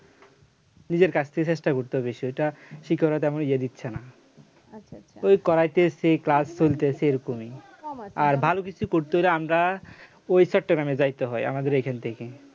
নিজের কাছ থেকে চেষ্টা করতে হবে বেশি ওইটা শিক্ষকরা তেমন ইয়ে দিচ্ছে না ওই করাইতেছে ক্লাস চলতেছে এরকমই আর ভালো কিছু করতে হলে আমরা ওই চট্টগ্রামে যাইতে হয় আমাদের এখান থেকে